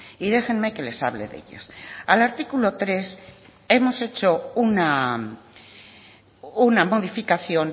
y déjenme que les hable de ellas al artículo tres hemos hecho una modificación